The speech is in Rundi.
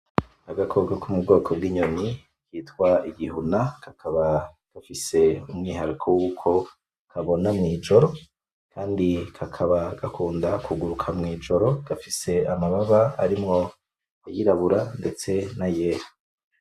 Agakoko ko mu bwoko bw'inyoni bwitwa igihuna, kakaba gafise umwihariko wuko ukabona mw'ijoro kandi kakaba gakunda kuguruka mw'ijoro, gafise amababa arimwo ayirabura ndetse n'ayera.